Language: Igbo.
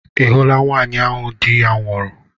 Ị hụla nwaanyị ahụ di ya nwụrụ?